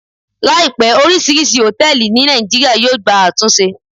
Láìpé, orisirisi hotẹẹli ní nàìjíría yóò gba àtúnṣe